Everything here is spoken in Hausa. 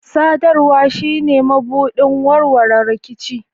Sadarwa shine mabuɗin warwarewan rikici.